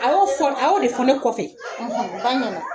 A y'o fɔ a y'o de fɔ ne kɔfɛ